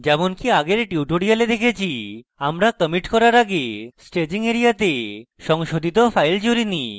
যেমনকি আগের টিউটোরিয়ালে দেখেছি আমরা কমিট করার আগে staging এরিয়াতে সংশোধিত files জুড়িনি এবং